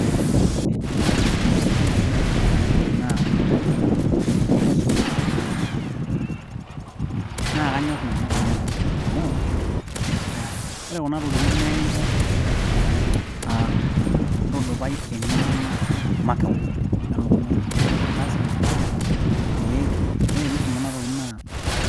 eh eji ore kune mali naa imbukui kuna naisumi naa kanyorr nanu kuna mali amuu ore kuna tokitin naa ekincho uh, intudupai eng'eno ino makewon elukunya ino lasima pee ore piisum kuna tokitin naa